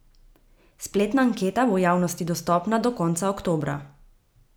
Spletna anketa bo javnosti dostopna do konca oktobra.